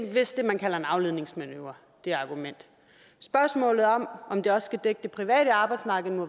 er vist det man kalder en afledningsmanøvre spørgsmålet om om det også skal dække det private arbejdsmarked må